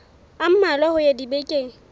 a mmalwa ho ya dibekeng